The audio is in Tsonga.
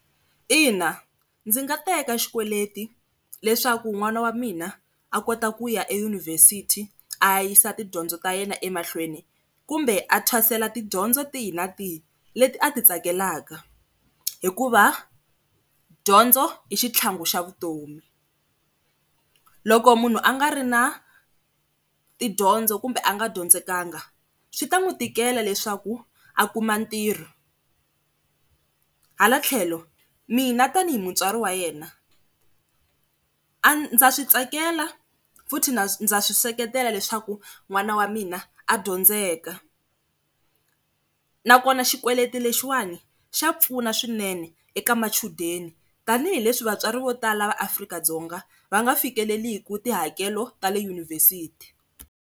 Ina, ndzi nga teka xikweleti leswaku n'wana wa mina a kota ku ya eyunivhesiti a ya yisa tidyondzo ta yena emahlweni kumbe a thwasela tidyondzo tihi na tihi leti a ti tsakelaka. Hikuva dyondzo i xitlhangu xa vutomi loko munhu a nga ri na tidyondzo kumbe a nga dyondzekanga swi ta n'wi tikela leswaku a kuma ntirho, hala tlhelo mina tanihi mutswari wa yena a ndza swi tsakela futhi na ndza swi seketela leswaku n'wana wa mina a dyondzelaka, na kona xikweleti lexiwani xa pfuna swinene eka machudeni tanihileswi vatswari vo tala va Afrika-Dzonga va nga fikeleliku tihakelo ta le yunivhesiti.